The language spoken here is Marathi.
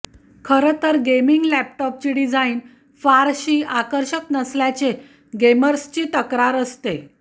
खरं तर गेमिंग लॅपटॉपची डिझाईन फारशी आकर्षक नसल्याचे गेमर्सची तक्रार असते